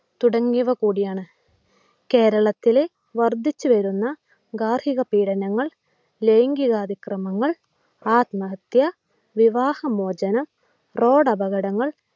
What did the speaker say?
തുടങ്ങിയവ കൂടിയാണ്. കേരളത്തിലെ വർദ്ധിച്ചു വരുന്ന ഗാർഹികപീഡനങ്ങൾ, ലൈംഗിക അതിക്രമങ്ങൾ, ആത്മഹത്യ, വിവാഹമോചനം, റോഡപകടങ്ങൾ